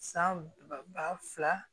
San ba fila